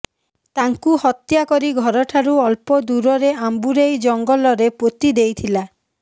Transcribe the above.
ତାଙ୍କୁ ହତ୍ୟା କରି ଘରଠାରୁ ଅଳ୍ପ ଦୂରରେ ଆମ୍ୱୁରେଇ ଜଙ୍ଗଲରେ ପୋତି ଦେଇଥିଲା